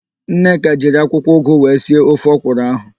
Nneka jiri akwụkwọụgụ wee sie ofe ọkwụrụ ahụ,